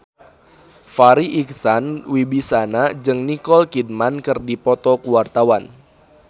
Farri Icksan Wibisana jeung Nicole Kidman keur dipoto ku wartawan